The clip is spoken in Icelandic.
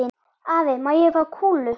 Afi, má ég fá kúlu?